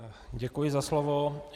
Děkuji za slovo.